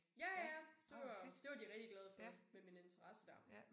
Ja ja det var det var de rigtig glade for med min interesse dér